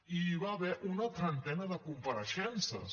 i hi va haver una trentena de compareixences